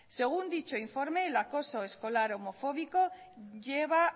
según dicho informe el acoso escolar homofóbico lleva